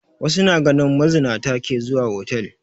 Wasu na ganin mazinata ke zuwa hotal